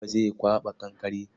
Buba zai kwaɓa kankare.